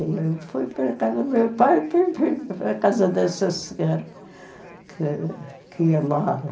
Eu fui para a casa do meu pai e fui para a casa dessa senhora que que ia lá.